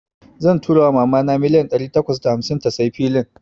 Zan tura wa mama na milliyan dari takwas da hamsin ta tsayi filin.